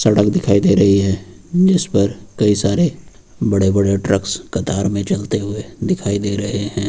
सड़क दिखाई दे रही है जिस पर कई सारे बड़े बड़े ट्रक्स कतार में चलते हुए दिखाई दे रहे हैं।